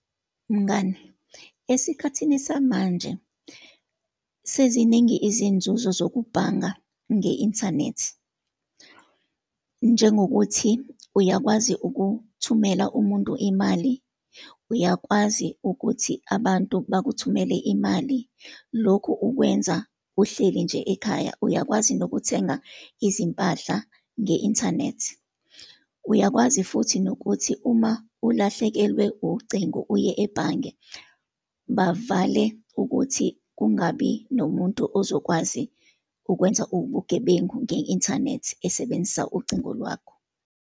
Mngani, esikhathini samanje seziningi izinzuzo zokubhanga nge-inthanethi, njengokuthi uyakwazi ukuthumela umuntu imali, uyakwazi ukuthi abantu bakuthumele imali. Lokhu ukwenza uhleli nje ekhaya, uyakwazi nokuthenga izimpahla nge-inthanethi. Uyakwazi futhi nokuthi uma ulahlekelwe ucingo, uye ebhange, bavale ukuthi kungabi nomuntu ozokwazi ukwenza ubugebengu nge-inthanethi esebenzisa ucingo lwakho.